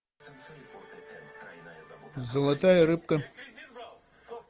золотая рыбка